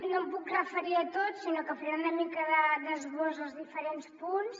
no em puc referir a tot sinó que faré una mica d’esbós dels diferents punts